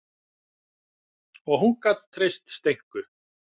Og hún gat treyst Steinku.